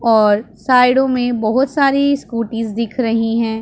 और साइडों में बहुत सारी स्कूटीस दिख रही हैं।